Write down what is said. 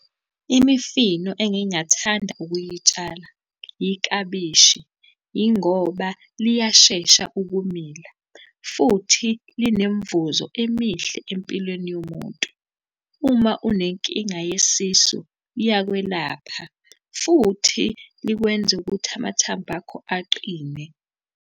Imifino engingathanda ukuyitshala yiklabishi, yingoba liyashesha ukumila, futhi linemivuzo emihle empilweni yomuntu. Uma unenkinga yesisu liyakwelapha, futhi likwenze ukuthi amathambo akho aqine.